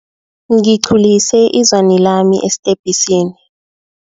Ngiqhulise izwani lami esitebhisini.